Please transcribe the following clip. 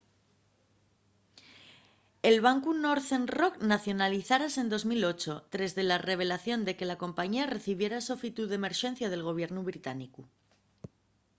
el bancu northern rock nacionalizárase en 2008 tres de la revelación de que la compañía recibiera sofitu d’emerxencia del gobiernu británicu